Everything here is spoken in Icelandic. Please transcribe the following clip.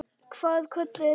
Hvað kölluðu þeir mig?